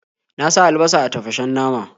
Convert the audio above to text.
Na sa albasa a tafashen nama.